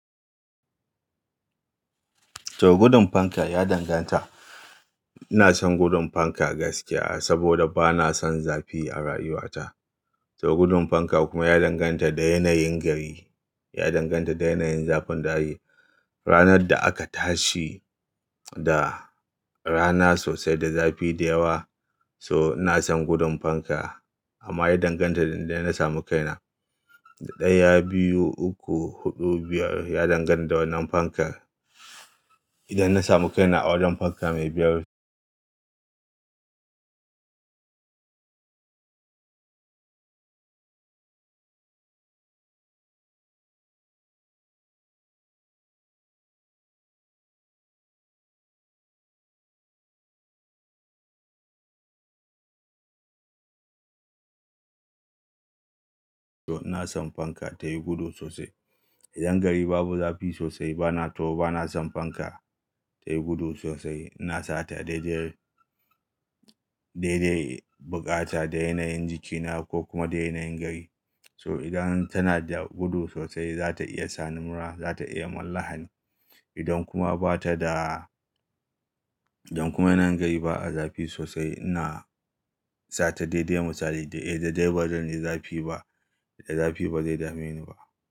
To gudun fankar ya danganta. Ina son gudun fanka gaskiya saboda ba na son zafi a rayuwata. To gudun fanka kuma ya danganta da yanayin gari, ya danganta da yanayin zafin dare. Ranar da aka tashi da rana sosai, da zafi da yawa, so ina son gudun fanka amma ya danganta inda na samu kaina. Ɗaya, biyu, uku, hudu, biyar. Ya danganta da wannan fankar. Idan na samu kaina a wajen fanka mai biyar, so ina son fanka tayi gudu sosai. Idan gari babu zafi sosai, bana to bana son fanka tayi gudu sosai. Ina sa ta daidai, daidai bukata da yanayin jikina ko kuma da yanayin gari. So idan tana da gudu sosai, za ta iya sa ni mura, za ta iya mun lahani. Idan kuma bata da, idan kuma yana gari ba a zafi sosai, ina sa ta daidai misali da eh daidai bazan ji zafi ba, da zafi bazai dame ni ba.